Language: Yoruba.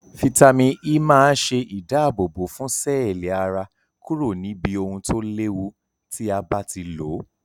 Fítàmì E maa se idabobo fun seeli ara kuro nibi ohun to lewu ti a bati lo